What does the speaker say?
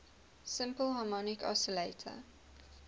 simple harmonic oscillator